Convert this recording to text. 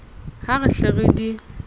ha re hle re di